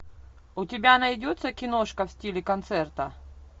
у тебя найдется киношка в стиле концерта